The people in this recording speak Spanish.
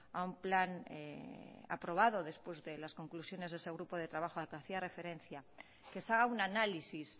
a un plan aprobado después de las conclusiones de ese grupo de trabajo al que hacía referencia que se haga un análisis